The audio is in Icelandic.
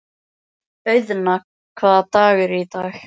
Auðna, hvaða dagur er í dag?